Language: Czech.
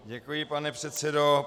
Děkuji, pane předsedo.